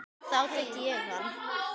Þá tek ég hann!